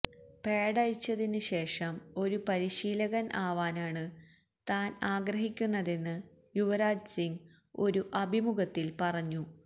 പാഡഴിച്ചതിന് ശേഷം ഒരു പരിശീലകൻ ആവാനാണ് താൻ ആഗ്രഹിക്കുന്നതെന്ന് യുവരാജ് സിങ് ഒരു അഭിമുഖത്തിൽ പറഞ്ഞു